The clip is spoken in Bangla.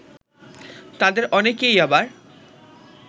তাদের অনেকেই আবার